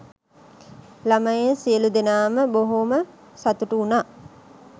ළමයින් සියලු දෙනාම බොහොම සතුටු වුණා.